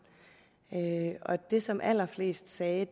og det som allerflest sagde